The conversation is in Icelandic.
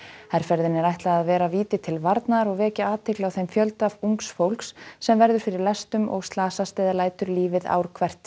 herferðinni er ætlað að vera víti til varnaðar og vekja athygli á þeim fjölda ungs fólks sem verður fyrir lestum og slasast eða lætur lífið ár hvert